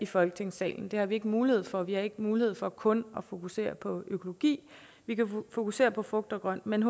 folketingssalen det har vi ikke mulighed for vi har ikke mulighed for kun at fokusere på økologi vi kan fokusere på frugt og grønt men i